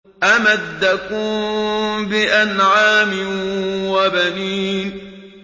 أَمَدَّكُم بِأَنْعَامٍ وَبَنِينَ